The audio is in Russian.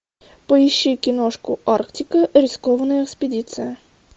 поищи киношку арктика рискованная экспедиция